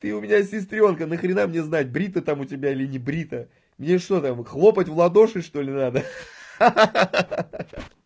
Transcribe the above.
ты у меня сестрёнка нахрена мне знать брито там у тебя или не брито мне что там хлопать в ладоши что-ли надо ха-ха